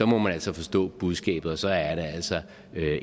må man altså forstå budskabet og så er det altså